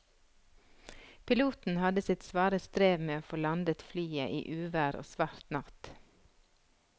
Piloten hadde sitt svare strev med å få landet flyet i uvær og svart natt.